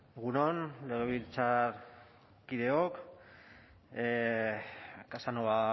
egun on legebiltzarkideok casanova